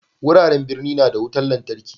Wuraren birni na da wutar lantarki.